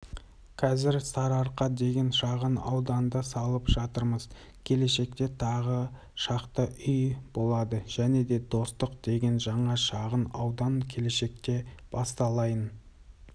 қазір сарыарқа деген шағын ауданды салып жатырмыз келешекте тағы шақты үй болады және де достық деген жаңа шағын аудан келешекте басталайын